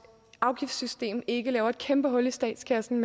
afgiftssystem ikke laver et kæmpe hul i statskassen